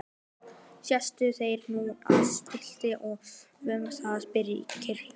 Settust þeir nú að sumbli og hófu að kyrja